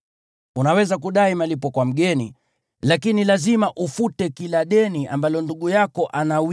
Unaweza kudai malipo kwa mgeni, lakini lazima ufute kila deni ambalo unamdai ndugu yako.